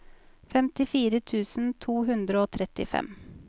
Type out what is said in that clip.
femtifire tusen to hundre og trettifem